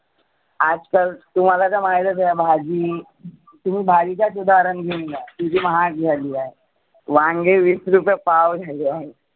आज काल तुम्हाला तर माहितचं आहे भाजी, तुम्ही भाजीच उदाहरण घेऊन घ्या. किती महाग झाली आहे. वांगे विस रुपये पाव झाली आहे.